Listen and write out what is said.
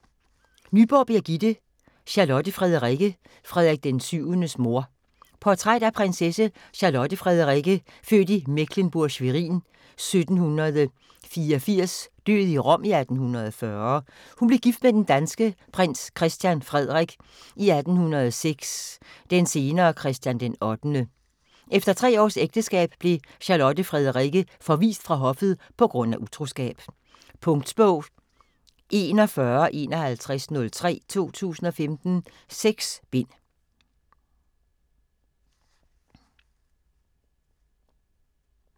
Nyborg, Birgitte: Charlotte Frederikke, Frederik VII's mor Portræt af prinsesse Charlotte Frederikke født i Mecklenburg-Schwerin i 1784 død i Rom 1840. Hun blev gift med den danske prins Christian Frederik i 1806, den senere Christian den 8. Efter tre års ægteskab blev Charlotte Frederikke forvist fra hoffet på grund af utroskab. Punktbog 415103 2015. 6 bind.